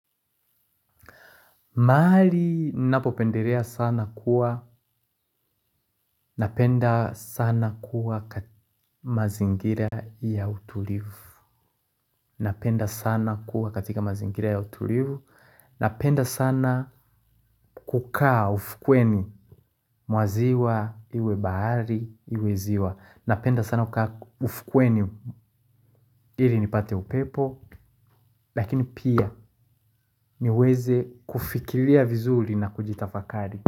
Mahali napopendelea sana kuwa, napenda sana kuwa katika mazingira ya utulivu, napenda sana kuwa katika mazingira ya utulivu, napenda sana kukaa ufukweni mwa ziwa iwe bahari iwe ziwa, napenda sana kukaa ufukweni ili nipate upepo, lakini pia niweze kufikilia vizuli na kujitafakari.